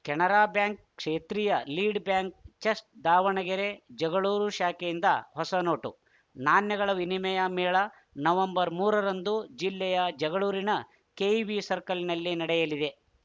Canara bank ಕ್ಷೇತ್ರೀಯ lead bank chest Davanagere Jagalur ಶಾಖೆಯಿಂದ ಹೊಸ ನೋಟು ನಾಣ್ಯಗಳ ವಿನಿಮಯ ಮೇಳ ನವೆಂಬರ್ ಮೂರರಂದು ಜಿಲ್ಲೆಯ ಜಗಳೂರಿನ ಕೆಇಬಿ ಸರ್ಕಲ್‌ನಲ್ಲಿ ನಡೆಯಲಿದೆ